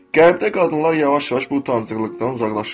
Qərbdə qadınlar yavaş-yavaş bu utancıqlıqdan uzaqlaşırlar.